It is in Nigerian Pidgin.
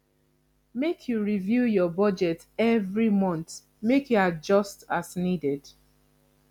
make you review your budget every month make you adjust as needed